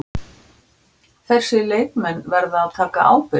Þessir leikmenn verða að taka ábyrgð.